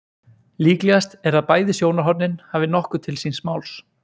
Líklegast er að bæði sjónarhornin hafi nokkuð til síns máls.